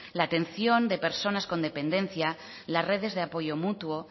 la atención de personas con dependencia las redes de apoyo mutuo